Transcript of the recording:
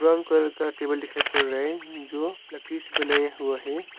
Brown colour का table दिखाई पड़ रहा है जो लकड़ी से बनाया हुआ है।